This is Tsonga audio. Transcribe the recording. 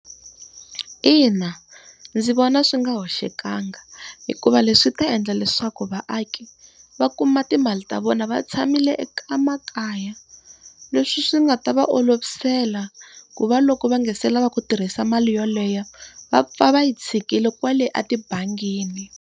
Ina, ndzi vona swi nga hoxekangi hikuva leswi ta endla leswaku vaaki va kuma timali ta vona va tshamile makaya. Leswi swi nga ta va olovisela ku va loko va nga se lava ku tirhisa mali yoleyo va pfa va yi tshikile kwale etibangini.